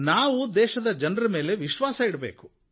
ನಾವು ದೇಶದ ಜನರ ಮೇಲೆ ವಿಶ್ವಾಸವನ್ನು ಇಡಬೇಕು